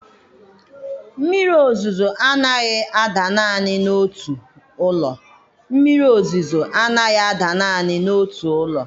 Mmiri ozuzo anaghị ada naanị n'otu ụlọ. Mmiri ozuzo anaghị ada naanị n'otu ụlọ.